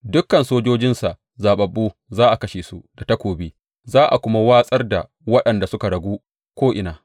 Dukan sojojinsa zaɓaɓɓu za a kashe su da takobi, za a kuma watsar da waɗanda suka ragu ko’ina.